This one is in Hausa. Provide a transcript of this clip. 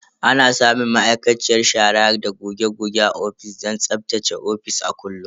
Ana samun ma'aikaciyar shara da goge goge a ofis don tsaftace ofis a kullum.